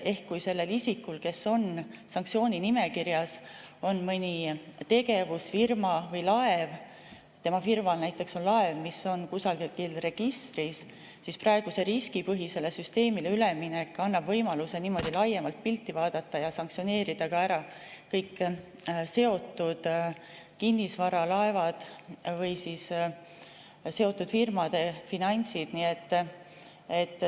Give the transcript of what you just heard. Ehk kui sellel isikul, kes on sanktsiooninimekirjas, on mõni tegevus, firma või laev, tema firmal näiteks on laev, mis on kusagil registris, siis riskipõhisele süsteemile üleminek annab võimaluse laiemat pilti vaadata ja sanktsioneerida ära kõik seotud kinnisvara, laevad või seotud firmade finantsid.